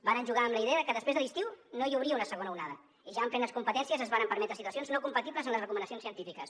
varen jugar amb la idea de que després de l’estiu no hi hauria una segona onada i ja amb plenes competències es varen permetre situacions no compatibles amb les recomanacions científiques